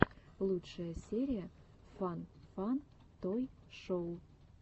лучшая серия фан фан той шоу